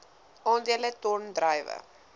aandele ton druiwe